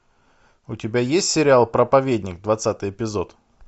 у тебя есть сериал проповедник двадцатый эпизод